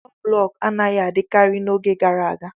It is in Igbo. Ụlọ blọk anaghị adịkarị n'oge gara aga.